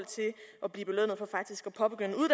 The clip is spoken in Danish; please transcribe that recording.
blive belønnet for faktisk